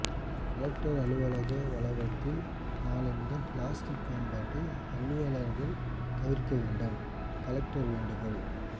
collector அலுவலக வளாகத்தில் நாளை முதல் பிளாஸ்டிக் பயன்பாட்டை அலுவலர்கள் தவிர்க்க வேண்டும் கலெக்டர் வேண்டுகோள்